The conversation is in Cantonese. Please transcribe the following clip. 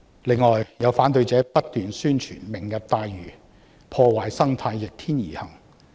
此外，有反對者不斷宣傳"明日大嶼願景""破壞生態"、"逆天而行"。